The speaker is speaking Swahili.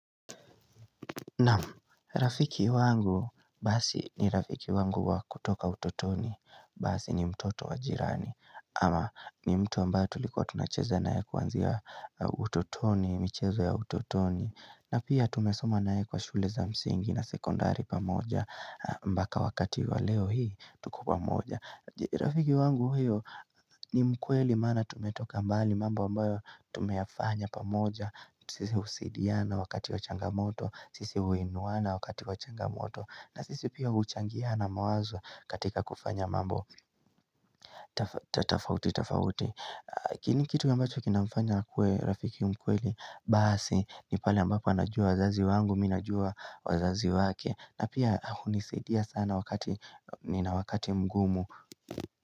Naam rafiki wangu basi ni rafiki wangu wa kutoka utotoni basi ni mtoto wa jirani ama ni mtu ambaye tulikuwa tunacheza naye kuanzia utotoni michezo ya utotoni na pia tumesoma naye kwa shule za msingi na sekondari pamoja mbaka wakati wa leo hii tuko pamoja. Rafiki wangu hiyo ni mkweli maana tumetoka mbali mamba ambayo tumeyafanya pamoja Sisi husidiana wakati wa changamoto, sisi uinuwana wakati wa changamoto na sisi pia uchangiana mawazo katika kufanya mambo tafauti, tafauti nini kitu ambacho kinafanya akuwe Rafiki mkweli Basi, ni pale ambapo anajua wazazi wangu, mi najua wazazi wake na pia hunisidia sana wakati, nina wakati mgumu.